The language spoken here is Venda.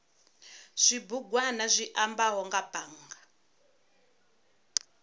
zwibugwana zwi ambaho nga bannga